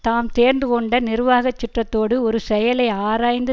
தாம் தேர்ந்துகொண்ட நிருவாகச் சுற்றத்தோடு ஒரு செயலை ஆராய்ந்து